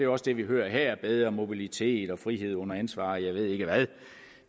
også det vi hører her bedre mobilitet frihed under ansvar og jeg ved ikke hvad